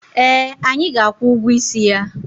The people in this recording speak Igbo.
Eh, anyị ga-akwụ ụgwọ isi ya.